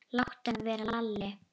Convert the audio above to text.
Láttu hann vera, Lalli!